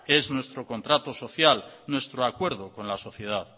que es nuestro contrato social nuestro acuerdo con la sociedad